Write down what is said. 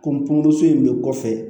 in bɛ kɔfɛ